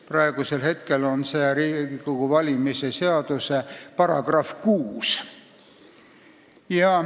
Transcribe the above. Praegu on see Riigikogu valimise seaduse §-s 6.